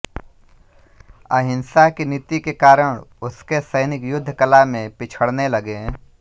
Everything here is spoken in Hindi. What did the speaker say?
अहिंसा की नीति के कारण उसके सैनिक युद्ध कला मे पिछड़ने लगे